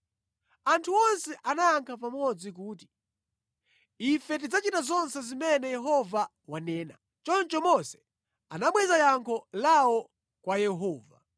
Anthu onse anayankha pamodzi kuti, “Ife tidzachita zonse zimene Yehova wanena.” Choncho Mose anabweza yankho lawo kwa Yehova.